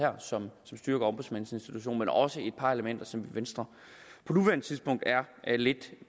som styrker ombudsmandsinstitutionen men også et par elementer som venstre på nuværende tidspunkt er lidt